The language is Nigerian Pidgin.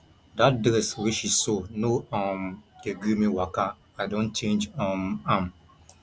dat dress wey she sew no um dey gree me waka i don change um am